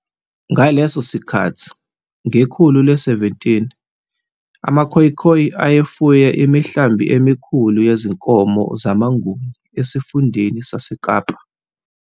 Ngaleso sikhathi, ngekhulu le-17, amaKhoekhoe ayefuye imihlambi emikhulu yezinkomo zamaNguni esifundeni saseKapa.